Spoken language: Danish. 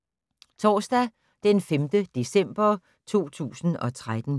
Torsdag d. 5. december 2013